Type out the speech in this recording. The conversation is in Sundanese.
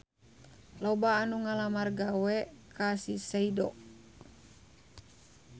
Loba anu ngalamar gawe ka Shiseido